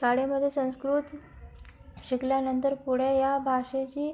शाळेमध्ये संस्कृत शिकल्यानंतर पुढे या भाषेशी